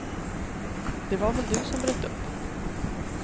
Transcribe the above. Det var väl du som bröt upp.